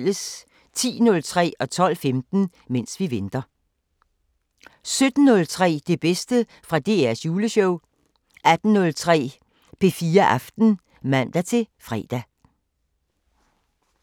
10:03: Mens vi venter 12:15: Mens vi venter 17:03: Det bedste fra DRs Juleshow 18:03: P4 Aften (man-fre)